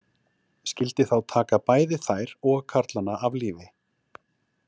Skyldi þá taka bæði þær og karlana af lífi.